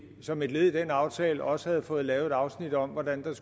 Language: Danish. som et led i den aftale også havde fået lavet et afsnit om hvordan der